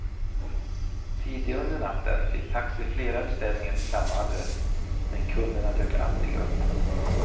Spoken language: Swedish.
Tidigare under natten fick taxi flera beställningar till samma adress, men kunderna dök aldrig upp.